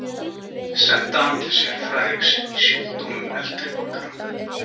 Senda hann til sérfræðings í sjúkdómum eldri borgara?